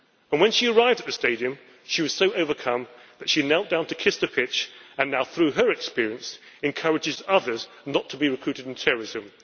When she arrived at the stadium she was so overcome that she knelt down to kiss the pitch and now through her experience encourages others not to be recruited to terrorism.